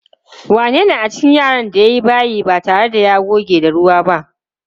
Wanene a cikin yaran da ya yi bayi ba tare da ya goge da ruwa ba?